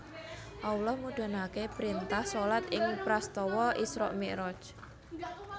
Allah mudhunake printah shalat ing prastawa Isra Miraj